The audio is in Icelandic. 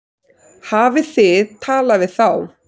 Hafið þið talað við þá?